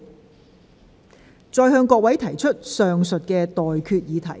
我現在向各位提出上述待決議題。